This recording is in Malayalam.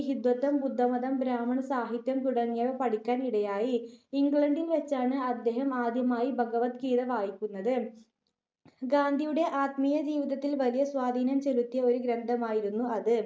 ഹിന്ദുത്വം, ബുദ്ധമതം, ബ്രാഹ്മണ സാഹിത്യം തുടങ്ങിയവ പഠിക്കാൻ ഇടയായി. ഇംഗ്ലണ്ടിൽ വച്ചാണ് അദ്ദേഹം ആദ്യമായി ഭഗവദ് ഗീത വായിക്കുന്നത്. ഗാന്ധിയുടെ ആത്മീയ ജിവിതത്തിൽ വലിയ സ്വാധീനം ചെലുത്തിയ ഒരു ഗ്രന്ഥമായിരുന്നു അത്.